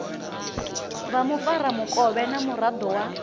vha mufaramukovhe na muraḓo wa